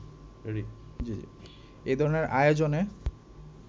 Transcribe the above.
এ ধরনের আয়োজনে